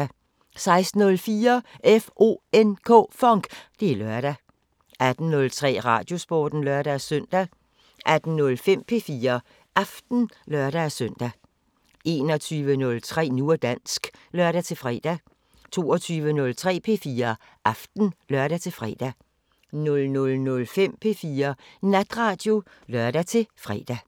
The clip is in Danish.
16:04: FONK! Det er lørdag 18:03: Radiosporten (lør-søn) 18:05: P4 Aften (lør-søn) 21:03: Nu og dansk (lør-fre) 22:03: P4 Aften (lør-fre) 00:05: P4 Natradio (lør-fre)